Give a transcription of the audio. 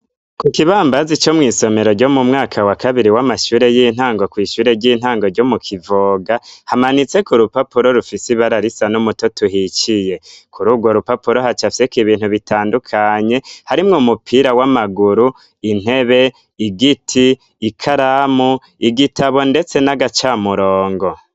Ku kibambazi ico mw'isomero ryo mu mwaka wa kabiri w'amashure y'intango ku ishure ry'intango ryo mu kivoga hamanitse ku rupapuro rufisi bararisa n'umuto tuhiciye kuri ubwo rupapuro hacafise ku ibintu bitandukanye harimwe umupira w'amaguru intebe igiti ikaramu igitabo ndetse n'agacamurongo.